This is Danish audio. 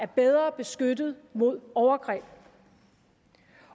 bedre beskyttet mod overgreb